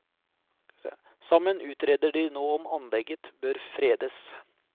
Sammen utreder de nå om anlegget bør fredes.